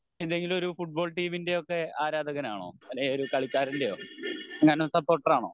എന്തെങ്കിലും ഒരു ഫുട്ബോൾ ടീമിൻ്റെ ഒക്കെ ഒരു ആരാധകനാണോ അല്ലെങ്കി ഒരു കളിക്കാരൻ്റെയോ എങ്ങാനും സപ്പോർട്ടർ ആണോ?